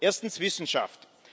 erstens Wissenschaft,